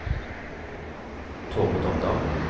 Tormod Omdal